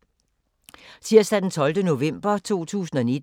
Tirsdag d. 12. november 2019